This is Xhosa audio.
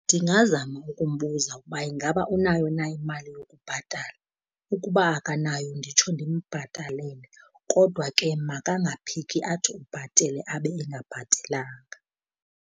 Ndingazama ukumbuza ukuba ingaba unayo na imali yokubhatala. Ukuba akanayo nditsho ndimbhatalele, kodwa ke makangaphiki athi ubhatele abe engabhatelanga.